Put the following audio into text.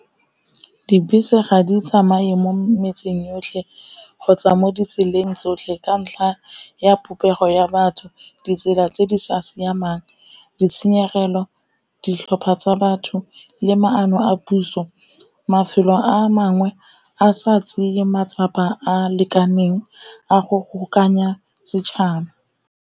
Dibese ga di tsamaye mo metseng yotlhe kgotsa mo ditseleng tsotlhe ka ntlha ya popego ya batho, ditsela tse di sa siamang, ditshenyegelo, ditlhopha tsa batho, le ma ano a puso. Mafelo a mangwe a sa tseye matsapa a lekaneng a go go kokoanya setšhaba.